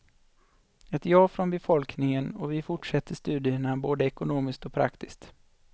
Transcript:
Ett ja från befolkningen och vi fortsätter studierna både ekonomiskt och praktiskt.